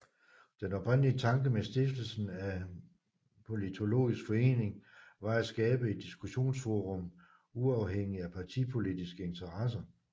Den oprindelige tanke med stiftelsen af Politologisk Forening var at skabe et diskussionsforum uafhængigt af partipolitiske interesser